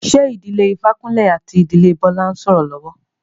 Ṣé ìdílé Ifákúnlé àti ìdílé Bọ́lá ń sọ́rọ́ lọ́wọ́?